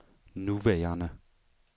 nuværende